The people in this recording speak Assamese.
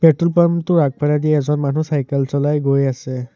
পেট্ৰল পাম্প টোৰ আগফলেদি এজন মানুহ চাইকেল চলাই গৈ আছে।